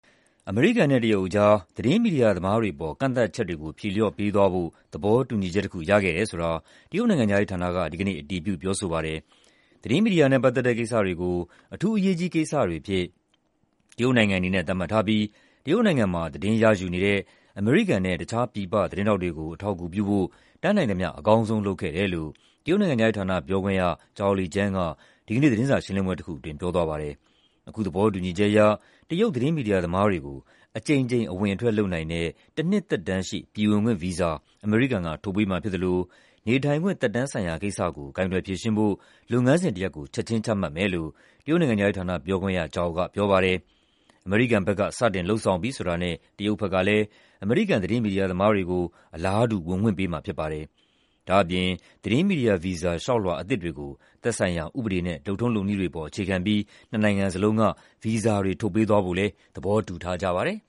အမေရိကန်နဲ့ တရုတ်ကြား သတင်းမီဒီယာသမားတွေအပေါ် ကန့်သတ်ချက်တွေကို ဖြေလျှော့ပေးသွားဖို့ သဘောတူညီချက်တခု ရခဲ့တယ်ဆိုတာ တရုတ်နိုင်ငံခြားရေးဌာနက ဒီကနေ့ အတည်ပြု ပြောဆိုပါတယ်။ သတင်းမီဒီယာနဲ့ပတ်သက်တဲ့ကိစ္စတွေကို အထူးအရေးကြီးကိစ္စတွေအဖြစ် တရုတ်နိုင်ငံအနေနဲ့ သတ်မှတ် ထားပြီး တရုတ်နိုင်ငံမှာ သတင်းရယူနေတဲ့ အမေရိကန်နဲ့ တခြား ပြည်ပသတင်းထောက်တွေကို အထောက်အကူပြုဖို့ တတ်နိုင်သမျှ အကောင်းဆုံးလုပ်ခဲ့တယ်လို့ တရုတ်နိုင်ငံခြားရေးဌာန ပြောခွင့်ရ Zhao Lijian က ဒီကနေ့ သတင်းစာရှင်းလင်းပွဲတခုအတွင်း ပြောသွားပါတယ်။ အခုသဘောတူညီချက်အရ တရုတ် သတင်းမီဒီယာသမားတွေကို အကြိမ်ကြိမ် အဝင်အထွက်လုပ်နိုင်တဲ့ တနှစ်သက်တမ်းရှိ ပြည်ဝင်ခွင့်ဗီဇာ အမေရိကန်က ထုတ်ပေးမှာဖြစ်သလို "နေထိုင်ခွင့်သက်တမ်း" ဆိုင်ရာ ကိစ္စကို ကိုင်တွယ်ဖြေရှင်းဖို့ လုပ်ငန်းစဉ်တရပ်ကို ချက်ခြင်းချမှတ်မယ်လို့ ပြောခွင့်ရ Zhao ကပြောပါတယ်။ အမေရိကန်ဘက်က စတင်လုပ်ဆောင်ပြီဆိုတာနဲ့ တရုတ်ဘက်ကလည်း အမေရိကန် သတင်းမီဒီယာသမားတွေကို အလားတူ ဝင်ခွင့်ပေးမှာဖြစ်ပါတယ်။ ဒါ့အပြင် သတင်းမီဒီယာဗီဇာ လျှောက်လွှာအသစ်တွေကို "သက်ဆိုင်ရာ ဥပဒေနဲ့ လုပ်ထုံးလုပ်နည်းတွေအပေါ် အခြေခံပြီး" နှစ်နိုင်ငံစလုံးက ဗီဇာတွေ ထုတ်ပေးသွားဖို့လည်း သဘောတူထားကြပါတယ်